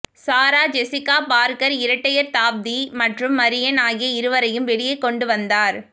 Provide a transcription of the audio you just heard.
சாரா Jessica Parker இரட்டையர் Tabitha மற்றும் Marion ஆகிய இருவரையும் வெளியே கொண்டு வந்தார்